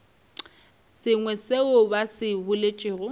sengwe seo ba se boletšego